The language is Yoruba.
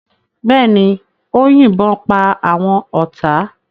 Bẹ́ẹ̀ ni, ó yìnbọn pa àwọn ọ̀tá.